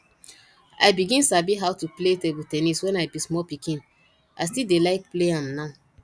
i begin sabi how to play table ten nis when i be small pikin i still dey like play am now